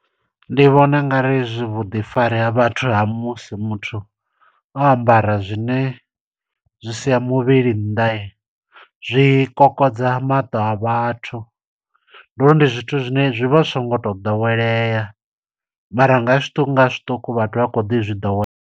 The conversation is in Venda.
Ndi vhona ungari zwi vhuḓifari ha vhathu ha musi muthu o ambara zwine zwi sia muvhili nnḓa, zwi kokodza maṱo a vhathu. Ndi uri ndi zwithu zwine zwi vha zwi songo to ḓowelea, mara nga zwiṱuku nga zwiṱuku, vhathu vha kho ḓi zwi ḓowela.